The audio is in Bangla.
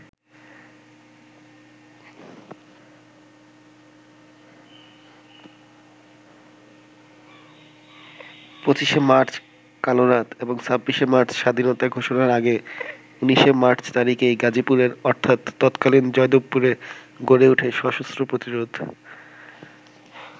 ২৫ মার্চ কালরাত এবং ২৬ মার্চ স্বাধীনতা ঘোষণার আগে ১৯ মার্চ তারিখেই গাজীপুরের অর্থাৎ তৎকালীন জয়দেবপুরে গড়ে ওঠে সশস্ত্র প্রতিরোধ।